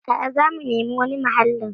A'a, zamu nemi wani mahallin.